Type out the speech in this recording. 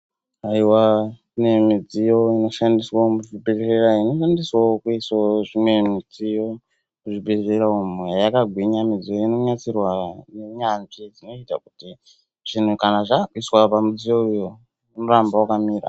Aiwa kune midziyo inoshandiswa muzvibhedhleya inoshandiswawo kuiswa zvimwe midziyo muzvibhedhleya umu. Yakagwinya midziyo inonasirwa ngeunyanzvi dzinoita kuti ,zvinhu zvaakuiswa pamudziyo uyu unoramba wakamira.